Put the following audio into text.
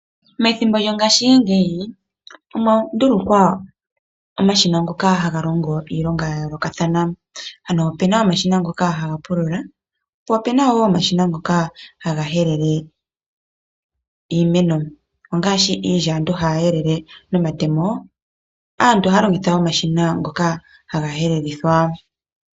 Methimbo lyongaashingeyi omwandulukwa omashina ngoka hagalongo iilonga yayoolokathana. Opuna omashina ngoka haga pulula po opuna wo mashina ngoka haga helele iimeno ongaashi iilya aantu haya helele nomatemo aantu ohaya longitha omashina ngoka haga helelithwa.